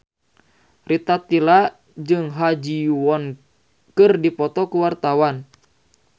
Rita Tila jeung Ha Ji Won keur dipoto ku wartawan